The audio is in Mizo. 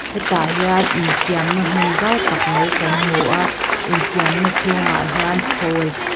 hian infiamna hmun zau tak mai kan hmu a infiamna chhungah hian phul-- tah